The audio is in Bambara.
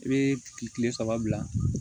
I bɛ kile saba bila